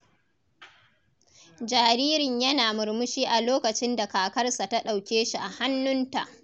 Jaririn yana murmushi a lokacin da kakarsa ta ɗauke shi a hannunta.